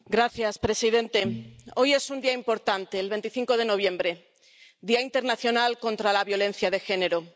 Señor presidente. Hoy es un día importante 25 de noviembre, Día internacional contra la violencia de género.